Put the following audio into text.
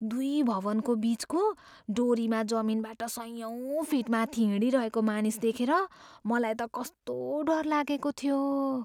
दुई भवनको बिचको डोरीमा जमिनबाट सयौँ फिट माथि हिँडिरहेको मानिस देखेर मलाई त कस्तो डर लागेको थियो।